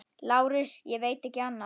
LÁRUS: Ég veit ekki annað.